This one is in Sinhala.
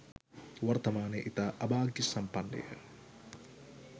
වර්තමානයේ ඉතා අභාග්‍ය සම්පන්න ය.